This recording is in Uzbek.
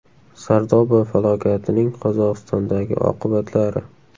Sardoba falokatining Qozog‘istondagi oqibatlari.